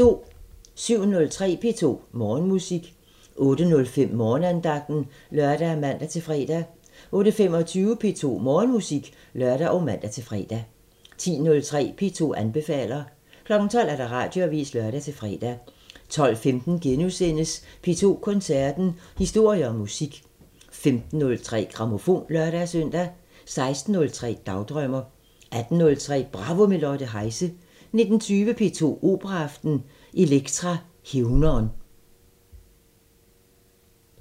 07:03: P2 Morgenmusik 08:05: Morgenandagten (lør og man-fre) 08:25: P2 Morgenmusik (lør og man-fre) 10:03: P2 anbefaler 12:00: Radioavisen (lør-fre) 12:15: P2 Koncerten – Historier og musik * 15:03: Grammofon (lør-søn) 16:03: Dagdrømmer 18:03: Bravo – med Lotte Heise 19:20: P2 Operaaften – Elektra hævnern